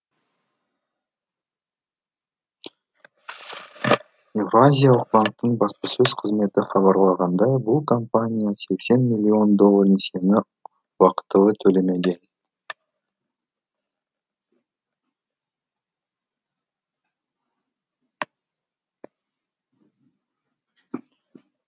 еуразиялық банктің баспасөз қызметі хабарлағандай бұл компания сексен миллион доллар несиені уақытылы төлемеген